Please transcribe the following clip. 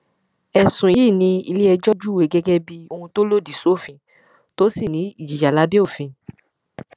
ẹsùn yìí ni iléẹjọ júwe gẹgẹ bíi ohun tó lòdì sófin tó sì ní ìjìyà lábẹ òfin